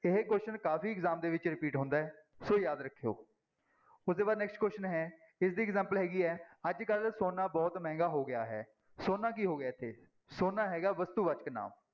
ਇਹ question ਕਾਫ਼ੀ exam ਦੇ ਵਿੱਚ repeat ਹੁੰਦਾ ਹੈ ਸੋ ਯਾਦ ਰੱਖਿਓ ਉਹਦੇ ਬਾਅਦ next question ਹੈ ਇਸਦੀ example ਹੈਗੀ ਹੈ ਅੱਜ ਕੱਲ੍ਹ ਸੋਨਾ ਬਹੁਤ ਮਹਿੰਗਾ ਹੋ ਗਿਆ ਹੈ, ਸੋਨਾ ਕੀ ਹੋ ਗਿਆ ਇੱਥੇ, ਸੋਨਾ ਹੈਗਾ ਵਸਤੂਵਾਚਕ ਨਾਂਵ।